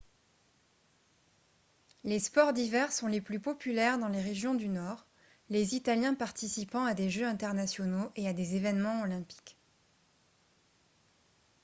les sports d'hiver sont les plus populaires dans les régions du nord les italiens participant à des jeux internationaux et à des événements olympiques